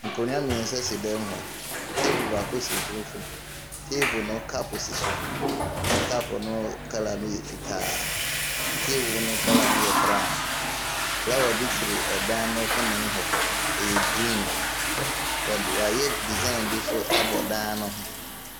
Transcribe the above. Nkonwa miɛnsa si dɛm hɔ. Teebol baako so mfimfini. Teebol no kap si so. Kap no kala no yɛ fitaa. Teebol no kala no yɛ berawn. Flawa bi twere ɛdan no kɔba mu hɔ, ɛyɛ griin . W'ayɛ disaen bi abɔ ɛdae ne ho.